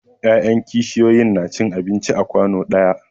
Ya'yan kishiyoyi na cin abinci a kwanu ɗaya.